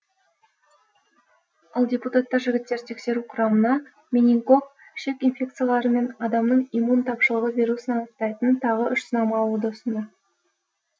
ал депутаттар жігіттерді тексеру құрамына менингок ішек инфекциялары мен адамның иммун тапшылығы вирусын анықтайтын тағы үш сынама алуды ұсынды